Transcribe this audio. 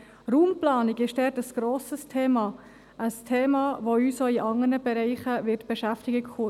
Raumplanung ist dort ein grosses Thema, ein Thema, das uns zukünftig auch in anderen Bereichen beschäftigen wird.